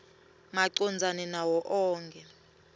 macondzana nawo onkhe